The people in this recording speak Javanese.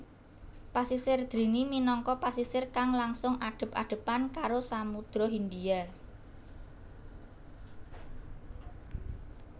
Pasisir drini minangka pasisir kang langsung adep adepan karo Samudra Hindia